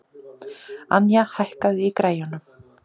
Anja, hækkaðu í græjunum.